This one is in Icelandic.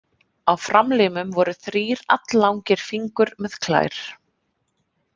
Á framlimum voru þrír alllangir fingur með klær.